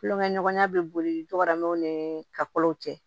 Kulonkɛɲɔgɔnya bɛ boliw ni ka kow cɛ